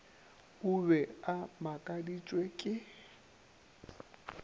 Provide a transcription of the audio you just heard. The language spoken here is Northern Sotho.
o be a makaditšwe ke